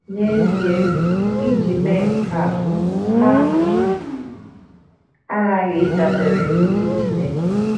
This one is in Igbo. N’ezie, iji mee nke a, ha aghaghị ịdabere n’ike Chineke.